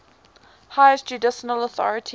highest judicial authority